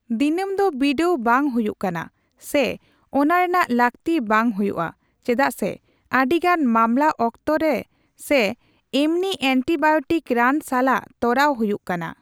ᱫᱤᱱᱟᱹᱢ ᱫᱚ ᱵᱤᱰᱟᱣ ᱵᱟᱝ ᱦᱩᱭᱩᱜ ᱠᱟᱱᱟ ᱥᱮ ᱚᱱᱟ ᱨᱮᱱᱟᱜ ᱞᱟᱹᱠᱛᱤ ᱵᱟᱝ ᱦᱩᱭᱩᱜ ᱟ ᱪᱮᱫᱟᱜ ᱥᱮ ᱟᱹᱰᱤᱜᱟᱱ ᱢᱟᱢᱞᱟ ᱚᱠᱛᱚ ᱨᱮ ᱥᱮ ᱮᱢᱱᱤ ᱮᱱᱴᱤᱵᱟᱭᱳᱴᱤᱠ ᱨᱟᱱ ᱥᱟᱞᱟᱜ ᱛᱚᱨᱟᱣ ᱦᱩᱭᱩᱜ ᱠᱟᱱᱟ᱾